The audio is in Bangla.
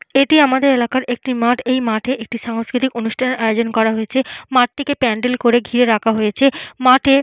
এটি আমাদের এলাকার একটি মাঠ। এই মাঠে একটি সাংস্কৃতিক অনুষ্ঠানের আয়োজন করা হয়েছে। মাঠটিকে প্যান্ডেল করে ঘিরে রাখা হয়েছে। মাঠে --